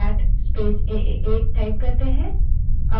aaa AAA name से कोई भी file मौजूद नहीं है